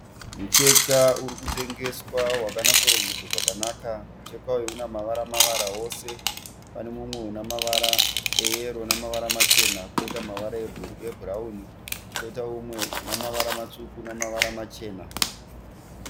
Mucheka uri kutengeswa wakanyatso rongedzwa zvakanaka. Mucheka uyu una mavara mavara wose. Pane umwe una mavara eyero nemavara machena. Koita mavara ebhurauni koitawo umwe una mavara matsvuku namavara machena.